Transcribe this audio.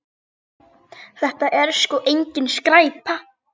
Þetta er sko engin skræpa.